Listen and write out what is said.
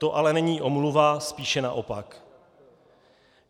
To ale není omluva, spíše naopak.